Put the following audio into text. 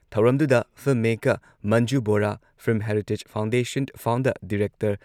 ꯊꯧꯔꯝꯗꯨꯗ film maker, Manju Bora, film heritage foundation founder director